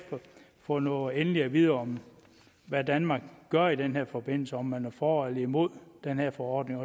fået noget endeligt at vide om hvad danmark gør i den her forbindelse altså om man er for eller imod den her forordning